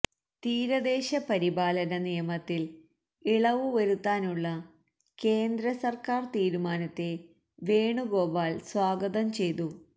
തീരദേശ പരിപാലന നിയമത്തിൽ ഇളവു വരുത്താനുള്ള കേന്ദ്ര സർക്കാർ തീരുമാനത്തെ വേണുഗോപാൽ സ്വാഗതം ചെയ്തു